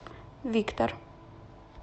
виктор